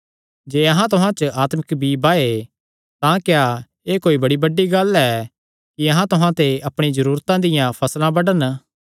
जे अहां तुहां च आत्मिक बीई बाये तां क्या एह़ कोई बड़ी बड्डी गल्ल ऐ कि अहां तुहां ते अपणियां जरूरतां दी फसल बड्डन